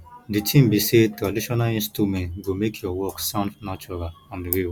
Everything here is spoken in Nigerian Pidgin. the thing be say traditional instrument go make your work sound natural and real